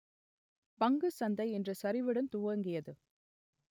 பங்கு சந்தை இன்று சரிவுடன் துவங்கியது